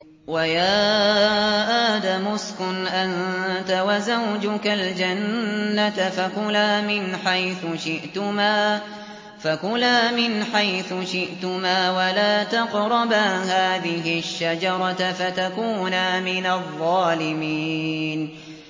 وَيَا آدَمُ اسْكُنْ أَنتَ وَزَوْجُكَ الْجَنَّةَ فَكُلَا مِنْ حَيْثُ شِئْتُمَا وَلَا تَقْرَبَا هَٰذِهِ الشَّجَرَةَ فَتَكُونَا مِنَ الظَّالِمِينَ